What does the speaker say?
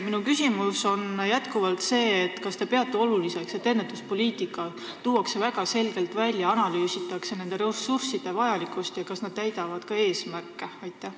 Minu küsimus on jätkuvalt see: kas te peate oluliseks, et ennetuspoliitika tuuakse väga selgelt välja, analüüsitakse nende ressursside vajalikkust ja seda, kas nad täidavad ka eesmärke?